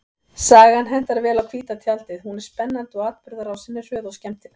Sagan hentar vel á hvíta tjaldið, hún er spennandi og atburðarásin er hröð og skemmtileg.